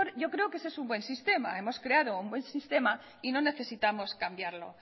yo creo que ese es un buen sistema hemos creado un buen sistema y no necesitamos cambiarlo